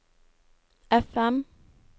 FM